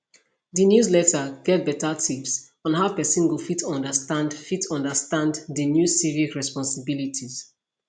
di newsletter get better tips on how pesin go fit understand fit understand di new civic responsibilities